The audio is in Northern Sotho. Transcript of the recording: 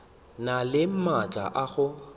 na le maatla a go